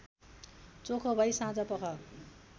चोखो भई साँझपख